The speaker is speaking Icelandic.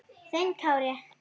Þinn Kári.